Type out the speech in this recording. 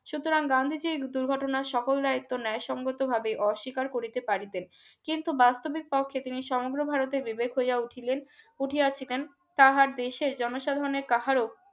গান্ধীজী দুর্ঘটনায় সকল দায়িত্ব ন্যায় সঙ্গতভাবে অস্বীকার করিতে পারতেন কিন্তু বাস্তবিক পক্ষে সমগ্র ভারতের বিবেক হইয়া উঠিলেন উঠেছিলেন তাহার দেশের জনসাধারণের কাহারো